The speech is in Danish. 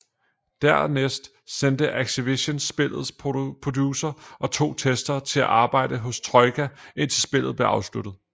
Dernæst sendte Activision spillets producer og to testere til at arbejde hos Troika indtil spillet blev afsluttet